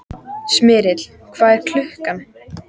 Smyrill, hvað er klukkan?